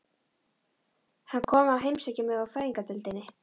Hann kom að heimsækja mig á Fæðingardeildina.